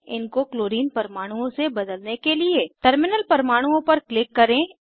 इनको क्लोरीन परमाणुओं से बदलने के लिए टर्मिनल परमाणुओं पर क्लिक करें